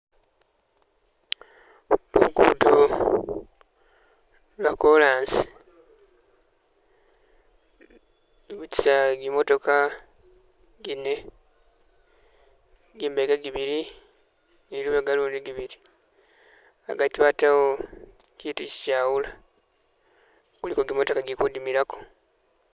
Lugudo lwo'korasi lubitisa gimimatokha gine gimbeka gibili ne lubega ulundi gibili, agati batawo kiitu kichawula , kuliko gimatoka igili kudimilako.